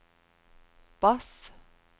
bass